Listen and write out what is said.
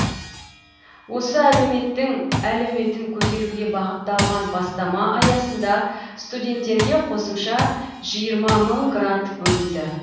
осы әлеуметтің әлеуетін көтеруге бағытталған бастама аясында студенттерге қосымша жиырма мың грант бөлінді